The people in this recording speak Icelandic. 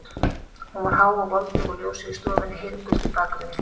Hún var há og voldug og ljósið í stofunni heiðgult í bakgrunni.